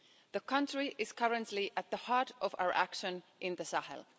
The country is currently at the heart of our action in the Sahel.